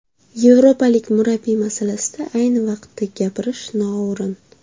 Yevropalik murabbiy masalasida ayni vaqtda gapirish noo‘rin.